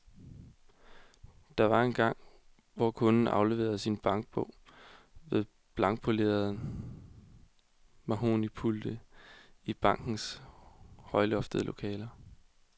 Der var engang, hvor kunden afleverede sin bankbog ved blankpolerede mahognipulte i bankernes højloftede lokaler.